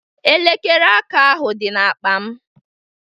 Elekere aka ahụ dị n'akpa m